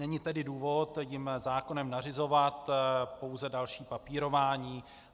Není tedy důvod jim zákonem nařizovat pouze další papírování.